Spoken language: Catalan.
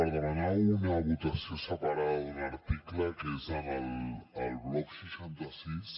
per demanar una votació separada d’un article que és al bloc seixanta sis